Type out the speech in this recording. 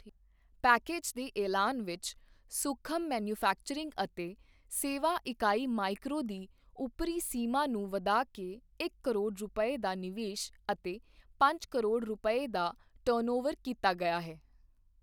Package ਦੇ ਐਲਾਨ ਵਿੱਚ, ਸੂਖਮ ਮੈਨੂਫੈਕਚਰਿੰਗ ਅਤੇ ਸੇਵਾ ਇਕਾਈ ਮਾਈਕ੍ਰੋ ਦੀ ਉੱਪਰੀ ਸੀਮਾ ਨੂੰ ਵਧਾ ਕੇ ਇੱਕ ਕਰੋੜ ਰੁਪਏ ਦਾ ਨਿਵੇਸ਼ ਅਤੇ ਪੰਜ ਕਰੋੜ ਰੁਪਏ ਦਾ ਟਰਨਓਵਰ ਕੀਤਾ ਗਿਆ ਹੈ।